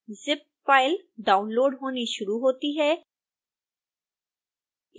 zip file download होनी शुरू होती है